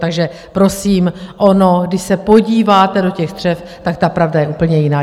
Takže prosím, ono když se podíváte do těch střev, tak ta pravda je úplně jiná.